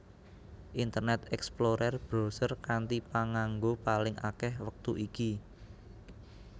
Internet Explorer browser kanthi panganggo paling akèh wektu iki